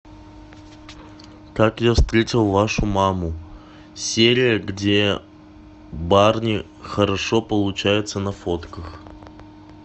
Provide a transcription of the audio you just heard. как я встретил вашу маму серия где барни хорошо получается на фотках